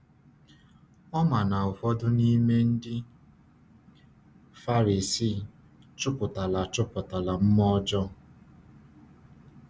Ọ ma na ụfọdụ n’ime ndị Farisii chụpụtala chụpụtala mmụọ ọjọọ.